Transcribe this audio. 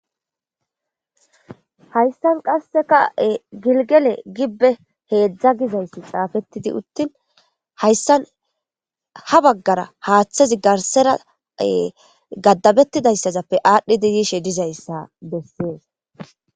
Hayssan qasseka gilgele gibbe heedzdza gizayssi xaafettidi uttin hayssan ha baggara haaththezi garsera gaddabettidayssazappe aadhdhi dedishe dizayssa bessees.